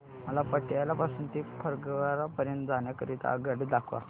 मला पटियाला पासून ते फगवारा पर्यंत जाण्या करीता आगगाड्या दाखवा